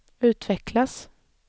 utvecklas